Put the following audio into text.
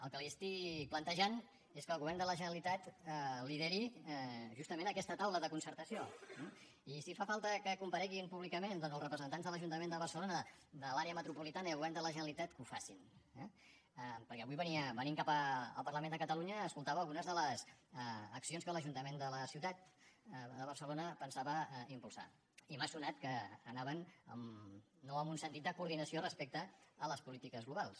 el que li estic plantejant és que el govern de la generalitat lideri justament aquesta taula de concertació i si fa falta que compareguin públicament doncs els representants de l’ajuntament de barcelona de l’àrea metropolitana i el govern de la generalitat que ho facin eh perquè avui venint cap al parlament de catalunya escoltava algunes de les accions que l’ajuntament de la ciutat de barcelona pensava impulsar i m’ha sonat que anaven no amb un sentit de coordinació respecte a les polítiques globals